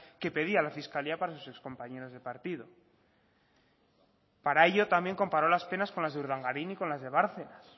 que pedía la fiscalía para sus ex compañeros de partido para ello también comparó las penas con las de urdangarin y con las de bárcenas